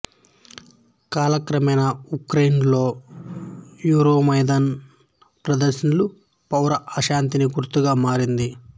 కాలక్రమేణా ఉక్రెయిన్లో యురోమైదాన్ ప్రదర్శనలు పౌర అశాంతిని గుర్తుగా మారింది